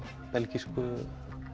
belgísku